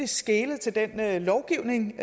skelet til den lovgivning